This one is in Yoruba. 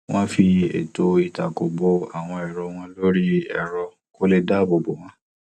wọn fi ètò ìtako bo àwọn èrò wọn lórí ẹrọ kó lè dáabò bo wọn